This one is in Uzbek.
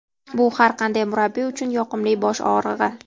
Bu har qanday murabbiy uchun yoqimli bosh og‘rig‘i.